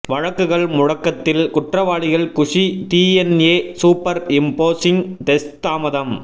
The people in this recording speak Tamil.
வழக்குகள் முடக்கத்தில் குற்றவாளிகள் குஷி டிஎன்ஏ சூப்பர் இம்போசிங் டெஸ்ட் தாமதம்